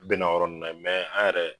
Bɛna o yɔrɔ ne n'an ye an yɛrɛ